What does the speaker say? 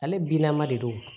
Ale binna de don